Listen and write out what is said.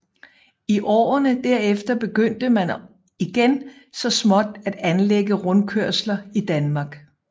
I årene derefter begyndte man igen så småt at anlægge rundkørsler i Danmark